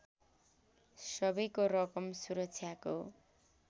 सबैको रकम सुरक्षाको